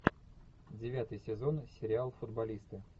девятый сезон сериал футболисты